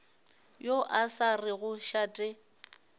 yo a sa rego šate